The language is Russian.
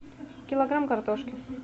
килограмм картошки